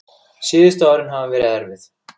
Síðustu árin hafa verið erfið.